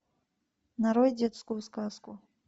нарой детскую сказку